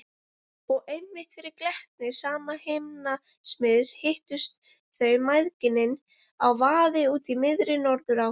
Og einmitt fyrir glettni sama himnasmiðs hittust þau mæðginin á vaði úti í miðri Norðurá.